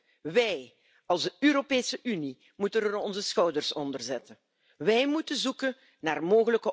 bedanke mich ausdrücklich bei der Berichterstatterin und bei den Schattenberichterstattern der anderen Fraktionen für die sehr konstruktive Zusammenarbeit.